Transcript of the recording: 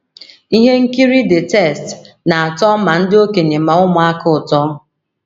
Ihe nkiri the text na - atọ ma ndị okenye ma ụmụaka ụtọ